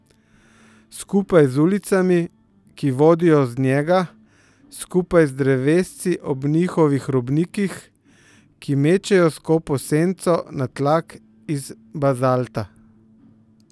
Skupaj z ulicami, ki vodijo z njega, skupaj z drevesci ob njihovih robnikih, ki mečejo skopo senco na tlak iz bazalta.